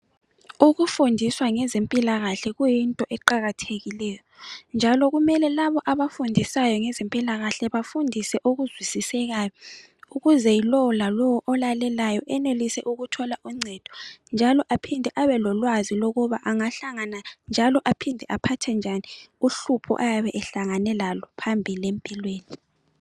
Ukufundiswa ngezempilakahle kuyinto eqakathekileyo njalo kumele labo abafundisayo ngezempilakahle bafundise okuzwisisekayo ukuze lowo lalowo olalelayo enelise ukuthola uncedo njalo aphinde abe lolwazi lokuba angahlangana njalo aphinde aphathe njani uhlupho ayabe ehlangane lalo phambili empilweni.